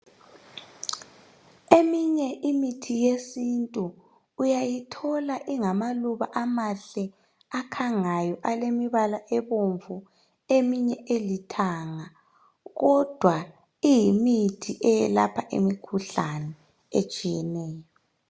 Eminye imithi yesintu uyayithola ingamaluba amahle akhangayo alemibala ebomvu eminye ilithanga kodwa iyimithi eyelapha imikhuhlane etshiyeneyo.